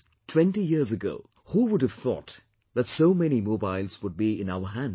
Twenty years ago who would have thought that so many mobiles would be in our hands